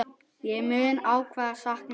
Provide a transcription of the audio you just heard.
Ég mun ávallt sakna þín.